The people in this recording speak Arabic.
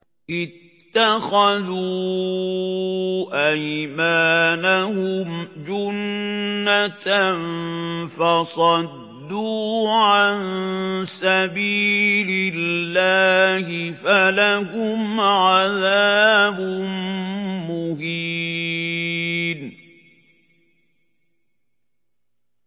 اتَّخَذُوا أَيْمَانَهُمْ جُنَّةً فَصَدُّوا عَن سَبِيلِ اللَّهِ فَلَهُمْ عَذَابٌ مُّهِينٌ